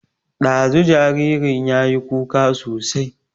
Ɗazu jaririn yayi kuka sosai